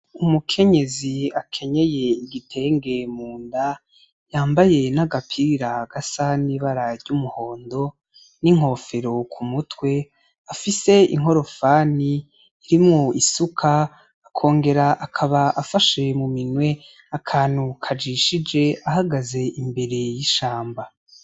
Umukenyezi akenyeye igitenge mu nda, yambaye n'agapira gasa n'ibara ry'umuhondo n'inkofero ku mutwe, afise inkorofani irimwo isuka, akongera akaba afashe mu minwe akantu kajishije, ahagaze imbere y'ishamba.